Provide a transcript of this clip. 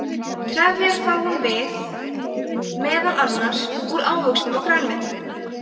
trefjar fáum við meðal annars úr ávöxtum og grænmeti